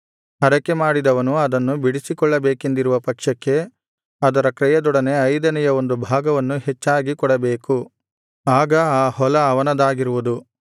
ಹರಕೆಮಾಡಿದವನು ಅದನ್ನು ಬಿಡಿಸಿಕೊಳ್ಳಬೇಕೆಂದಿರುವ ಪಕ್ಷಕ್ಕೆ ಅದರ ಕ್ರಯದೊಡನೆ ಐದನೆಯ ಒಂದು ಭಾಗವನ್ನು ಹೆಚ್ಚಾಗಿ ಕೊಡಬೇಕು ಆಗ ಆ ಹೊಲ ಅವನದಾಗಿರುವುದು